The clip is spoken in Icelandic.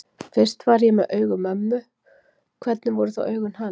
Fyrst ég var með augu mömmu, hvernig voru þá augun hans?